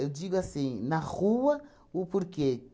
digo assim, na rua, o porquê?